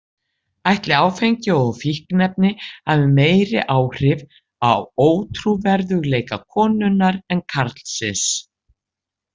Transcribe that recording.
Ætli áfengi og fíkniefni hafi meiri áhrif á ótrúverðugleika konunnar en karlsins?